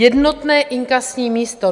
Jednotné inkasní místo.